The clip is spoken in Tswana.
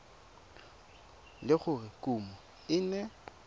le gore kumo e ne